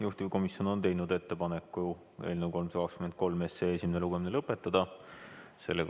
Juhtivkomisjon on teinud ettepaneku eelnõu 323 esimene lugemine lõpetada.